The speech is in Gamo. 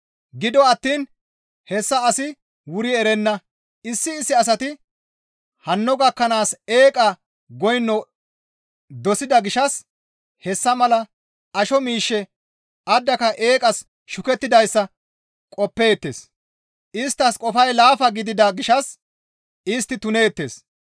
Gido attiin hessa asi wuri erenna; issi issi asati hanno gakkanaas eeqa goyno dosida gishshas hessa mala asho mishe addaka eeqas shukettidayssa qoppeetes; isttas qofay laafa gidida gishshas istti tuneettes.